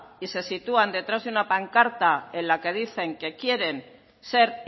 y se sitúan detrás de una pancarta en la que dicen que quieren ser